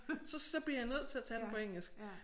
Så bliver jeg nødt til at tage den på engelsk